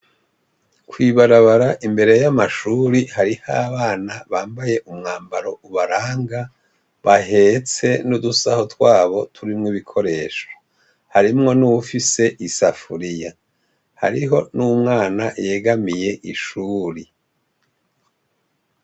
Kw’ibarabara imbere y’amashure hariho abana bambaye umwambaro ubaranga bahetse n’udusaho twabo turimwo ibikoresho, harimwo n’uwufise isafuriya, hariho n’umwana yegamiye ishuri.